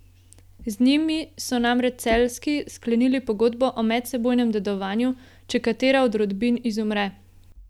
Z njimi so namreč Celjski sklenili pogodbo o medsebojnem dedovanju, če katera od rodbin izumre.